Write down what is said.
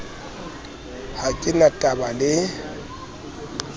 ha ke na taba le